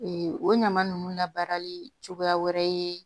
o ɲama ninnu labaarali cogoya wɛrɛ ye